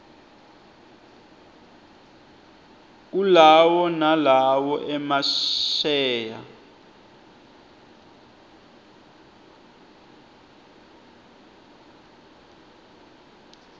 kulawo nalowo emasheya